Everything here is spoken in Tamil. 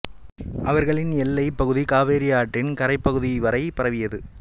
அவர்களின் எல்லைப் பகுதி காவேரி ஆற்றின் கரைபபகுதிகள் வரை பரவியது